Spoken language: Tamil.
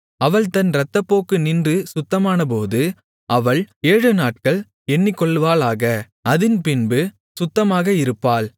அவள் தன் இரத்தப்போக்கு நின்று சுத்தமானபோது அவள் ஏழுநாட்கள் எண்ணிக்கொள்வாளாக அதின்பின்பு சுத்தமாக இருப்பாள்